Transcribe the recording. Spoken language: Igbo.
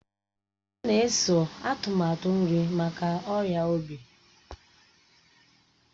Ọ na-eso atụmatụ nri maka ọrịa obi